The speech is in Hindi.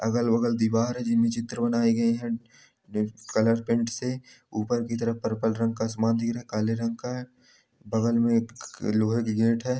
अगल-बगल दीवार है जिनमे चित्र बनाये गए हैं। कलर पेंट से ऊपर की तरफ पर्पल रंग का सामान दिख रहा काले रंग का हैं। बगल में एक लोहे की गेट हैं।